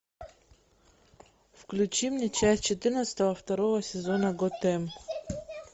включи мне часть четырнадцать второго сезона готэм